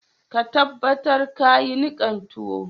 Ka tabatar ka yi nikan tuwon.